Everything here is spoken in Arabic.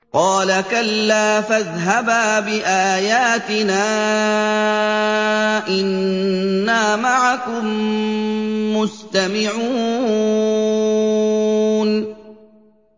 قَالَ كَلَّا ۖ فَاذْهَبَا بِآيَاتِنَا ۖ إِنَّا مَعَكُم مُّسْتَمِعُونَ